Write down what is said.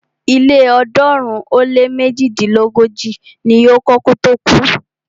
Ilé ọ̀ọ́dúnrún ó lé méjidínlógójì ni o kọ́ kí ó tó kú.